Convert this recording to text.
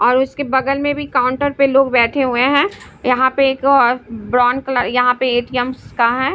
और उसके बगल में भी काउंटर पे लोग बैठे हुए हैं यहाँ पे एक ब्राउन कलर यहाँ पे ए- टी- एम्स का है।